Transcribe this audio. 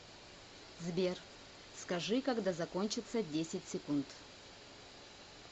сбер скажи когда закончатся десять секунд